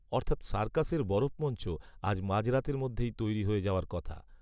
অর্থাৎ সার্কাসের বরফমঞ্চ আজ মাঝরাতের মধ্যেই তৈরি হয়ে যাওয়ার কথা